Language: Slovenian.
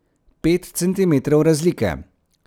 Pet centimetrov razlike.